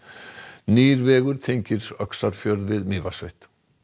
nýr vegur tengir Öxarfjörð við Mývatnssveit